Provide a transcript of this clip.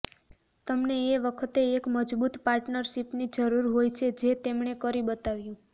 તમને એ વખતે એક મજબૂત પાર્ટનરશીપની જરૂર હોય છે જે તેમણે કરી બતાવ્યું